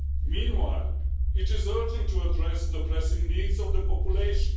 Meanwhile, it is urgent to address the pressing needs of the population.